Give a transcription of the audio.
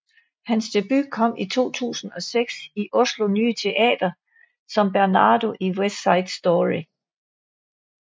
Hans debut kom i 2006 i Oslo Nye Teater som Bernardo i West Side Story